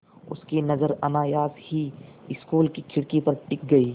उनकी नज़र अनायास ही स्कूल की खिड़की पर टिक गई